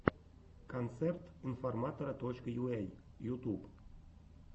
концерт информатора точка юэй ютуб